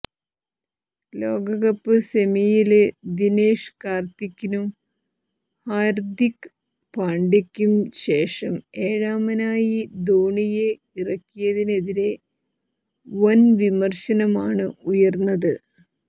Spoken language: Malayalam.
ലോകകപ്പ് സെമിയില് ദിനേഷ് കാര്ത്തിക്കിനും ഹാര്ദിക് പാണ്ഡ്യയ്ക്കും ശേഷം ഏഴാമനായി ധോണിയെ ഇറക്കിയതിനെതിരെ വന് വിമര്ശനമാണ് ഉയര്ന്നത്